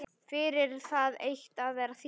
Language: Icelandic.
Fyrir það eitt að vera þýskur.